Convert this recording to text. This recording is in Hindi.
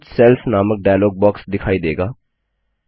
डिलीट सेल्स नामक डायलॉग बॉक्स दिखाई देगा